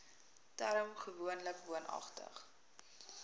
term gewoonlik woonagtig